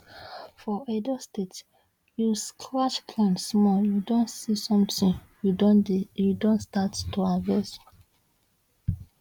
for edo state you scratch ground small you don see somtin you you don start to harvest